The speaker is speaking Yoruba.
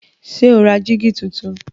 Ṣé o ra jígí tuntun?